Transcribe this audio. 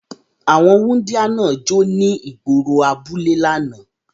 Awọn wundia náa jo ni igboro abule lánà